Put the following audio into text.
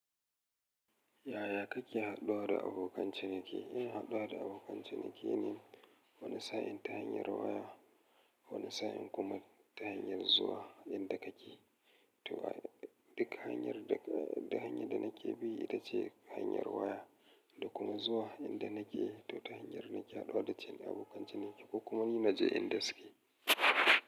Yaya kake haɗuwa da abokan ciniki? In haɗuwa da abokan ciniki ne wani sa'in ta hanyar waya, wani sa'in kuma ta hanyar zuwa inda kake. To a dik hanyar daka din hanyar da nake bi ita ce hanyar waya da kuma zuwa inda nake ko ta hanyar nake haɗuwa da cin abokan ciniki ko kuma ni na je inda suke.